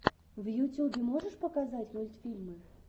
в ютюбе можешь показать мультфильмы